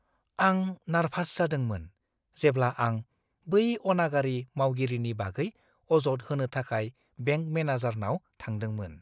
आं नार्भास जादोंमोन जेब्ला आं बै अनागारि मावगिरिनि बागै अजद होनो थाखाय बेंक मेनेजारनाव थांदोंमोन।